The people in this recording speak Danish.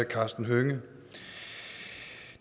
karsten hønge